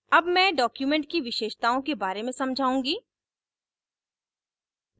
अब मैं document की विशेषताओं के बारे में समझाउंगी